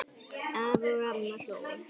Afi og amma hlógu.